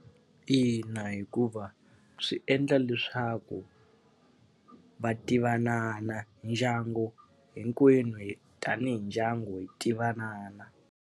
Ina hikuva swi endla leswaku va tivanana ndyangu hinkwenu hi tanihi ndyangu hi tivana.